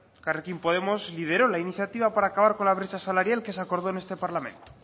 elkarrekin podemos lideró la iniciativa para acabar con la brecha salarial que se acordó en este parlamento